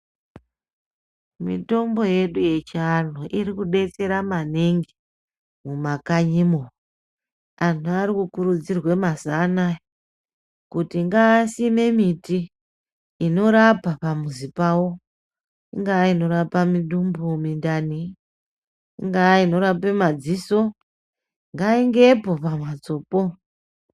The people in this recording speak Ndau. Mitombo yedu yechianhu irikudetsera maningi ,mumakanyi umu anhu arikurudzirwa mazuvaanaya kuti ngaasime miti inorapa pamuzi pavo, kungava inorapa mudumbu ,mintani ,ingava inorape maziso ngaivepo pamhatsopo.